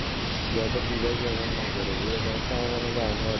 যাতে device ব্যবহার না করে এরকম একটা আমার মনে হয় যে আইন হওয়া দরকার